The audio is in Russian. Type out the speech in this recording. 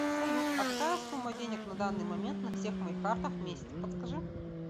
салют а какая сумма денег на данный момент на всех моих картах вместе подскажи